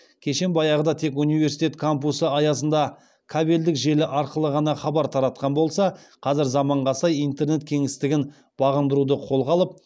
кешен баяғыда тек университет кампусы аясында кабелдік желі арқылы ғана хабар таратқан болса қазір заманға сай интернет кеңістігін бағындыруды қолға алып